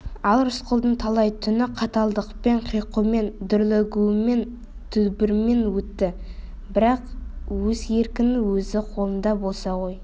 ал рысқұлдың талай түні қаталдықпен қиқумен дүрлігумен дүбірмен өтті бірақ өз еркің өз қолыңда болса ғой